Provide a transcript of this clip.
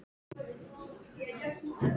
Á meðan þetta er bara.